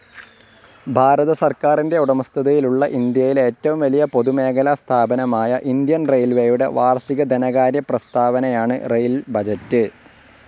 ഭാരത സർക്കാരിൻ്റെ ഉടമസ്ഥതയിലുള്ള ഇന്ത്യയിലെ ഏറ്റവുംവലിയ പൊതുമേഖലാസ്ഥാപനമായ ഇന്ത്യൻ റയിൽവെയുടെ വാർഷിക ധനകാര്യപ്രസ്ഥാവനയാണ് റെയിൽ ബജറ്റ്.